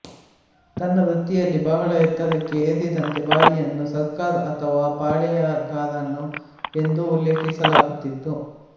ತನ್ನ ವೃತ್ತಿಯಲ್ಲಿ ಬಹಳ ಎತ್ತರಕ್ಕೆ ಏರಿದಂತೆ ಬಾಯಿಯನ್ನು ಸರ್ಕಾರ್ ಅಥವಾ ಪಾಳೆಯಗಾರನ್ ಎಂದು ಉಲ್ಲೇಖಿಸಲಾಗುತ್ತಿತ್ತು